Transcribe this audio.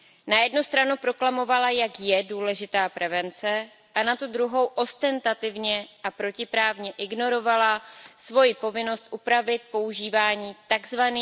Na jednu stranu proklamovala, jak je důležitá prevence, a na tu druhou ostentativně a protiprávně ignorovala svoji povinnost upravit používání tzv.